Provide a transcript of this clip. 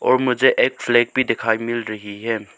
ओ मुझे एक फ्लैग भी दिखाई मिल रही है।